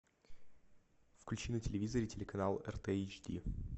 включи на телевизоре телеканал рт эйч ди